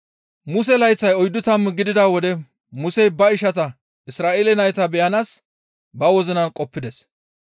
«Muse layththay oyddu tammu gidida wode Musey ba ishata Isra7eele nayta beyanaas ba wozinan qoppides.